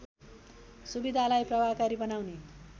सुविधालाई प्रभावकारी बनाउने